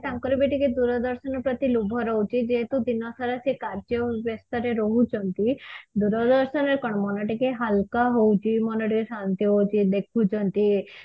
ତାଙ୍କର ବି ଟିକେ ଦୂରଦର୍ଶନ ପ୍ରତି ଲୋଭ ରହୁଛି ଯେହେତୁ ଦିନ ସାରା ସେ କାର୍ଯ୍ୟ ବେସ୍ତ ରେ ରହୁଛନ୍ତି ଦୂରଦର୍ଶନ ରେ କଣ ମନ ଟିକେ ହାଲକା ହଉଛି ମନ ଟିକେ ଶାନ୍ତି ହଉଛି ଦେଖୁଛନ୍ତି